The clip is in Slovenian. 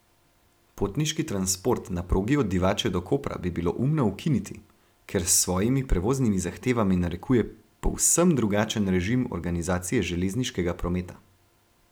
Potniški transport na progi od Divače do Kopra bi bilo umno ukiniti, ker s svojimi prevoznimi zahtevami narekuje povsem drugačen režim organizacije železniškega prometa.